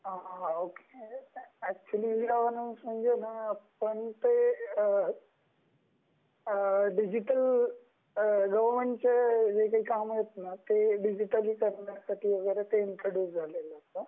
हा. हां, हां, ओके. एक्च्युली इ-गवर्नन्स म्हणजे ते डिजिटल गवर्नमेंटचे काम आहेत न ते डिजिटली करण्यासाठी वैगेरे ते इंट्रोड्यूस झाले आहे .